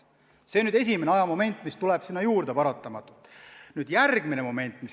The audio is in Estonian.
See on esimene ajamoment, mis paratamatult olemas on.